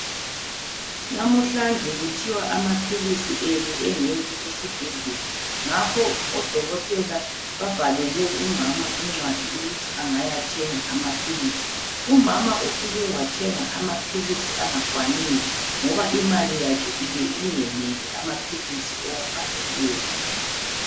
Namuhlanje kuthiwa amaphilisi enu engekho esibhedlela. Ngakho odokotela babhalele umama incwadi ukuthi angayathenga amaphilisi. Umama ufike wathenga amaphilisi angakwaniyo, ngoba imali yakhe ibe ingeneli amaphilisi owabhalelweyo.